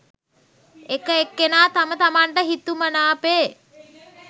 එක එක්කෙනා තම තමන්ට හිතුමනාපේ